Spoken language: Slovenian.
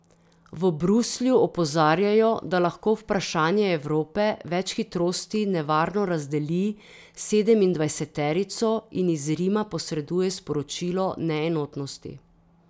V Bruslju opozarjajo, da lahko vprašanje Evrope več hitrosti nevarno razdeli sedemindvajseterico in iz Rima posreduje sporočilo neenotnosti.